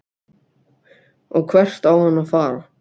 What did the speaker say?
Og hvert á hann að fara?